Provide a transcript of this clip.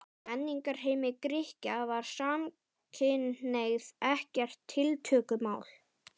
Í menningarheimi Grikkja var samkynhneigð ekkert tiltökumál.